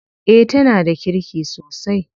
Eh tana da kirki sosai.